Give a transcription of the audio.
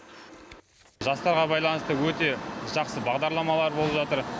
жастарға байланысты өте жақсы бағдарламалар болып жатыр